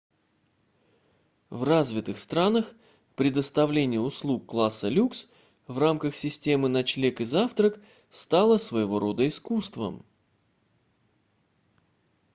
в развитых странах предоставление услуг класса люкс в рамках системы ночлег и завтрак стало своего рода искусством